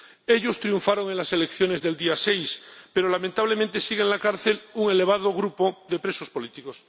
Ellos triunfaron en las elecciones del día 6, pero lamentablemente sigue en la cárcel un elevado grupo de presos políticos.